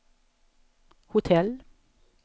hotell